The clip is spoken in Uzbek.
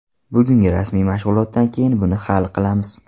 Bugungi rasmiy mashg‘ulotdan keyin buni hal qilamiz.